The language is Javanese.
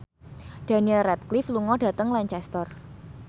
Daniel Radcliffe lunga dhateng Lancaster